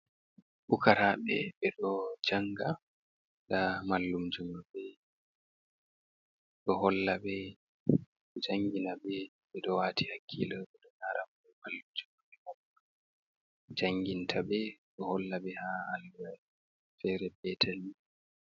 Pukaraɓe ɓe ɗo janga, nda mallum jo manɓɓe ɗo holla ɓe, jangina ɓe, ɓe ɗo wati hakkilo bo, lara ko mallumjo janginta ɓe ɗo holla ɓe ha alluwa fere petal ni.